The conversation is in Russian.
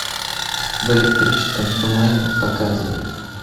в электрическом тумане показывай